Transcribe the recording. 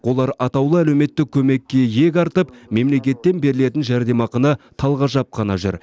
олар атаулы әлеуметтік көмекке иек артып мемлекеттен берілетін жәрдемақыны талғажап қана жүр